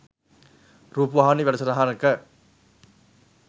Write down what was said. රූපවාහිනී වැඩසටහනක